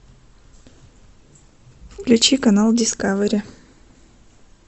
включи канал дискавери